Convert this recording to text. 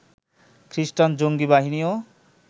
খ্রিষ্টান জঙ্গি বাহিনীও